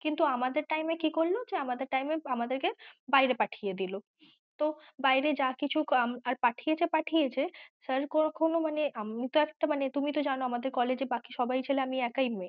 কিন্তু আমাদের time এ কি করল, যে আমাদের time এ আমাদের কে বায়েরে পাঠিয়েদিল তো বায়েরে যা কিছু উম আর পাঠিয়েছে পাঠিয়েছে sir কখনো মানে আমিও তো একটা মানে তুমি তো জানো আমাদের college এ বাকি সবাই ছেলে আমি একাই মেয়ে।